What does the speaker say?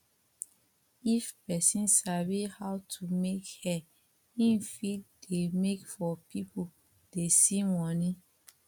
if persin sabi how to make hair im fit de make for pipo dey see money